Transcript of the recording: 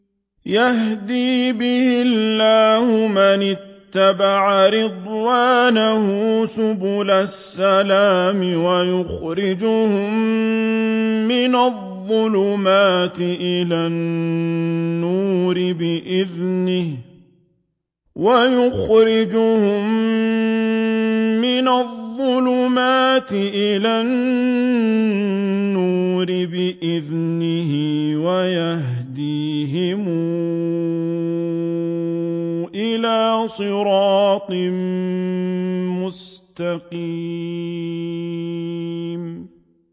يَهْدِي بِهِ اللَّهُ مَنِ اتَّبَعَ رِضْوَانَهُ سُبُلَ السَّلَامِ وَيُخْرِجُهُم مِّنَ الظُّلُمَاتِ إِلَى النُّورِ بِإِذْنِهِ وَيَهْدِيهِمْ إِلَىٰ صِرَاطٍ مُّسْتَقِيمٍ